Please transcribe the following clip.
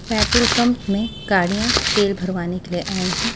Petrol pump में गाड़ियां तेल भरवाने के लिए आई हैं।